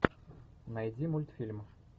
найди мультфильм